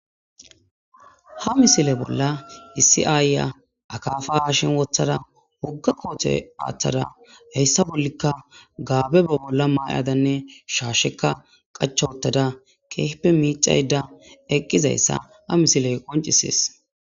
Ha misile bolla issi aayya akaafa haashen wothada wugga koote aaththada heyssa bollikka gaabe ba bolla maayadanne shaashekka qacha wotada keefpe miicayda eqqizayssa ha misiley qoncisees.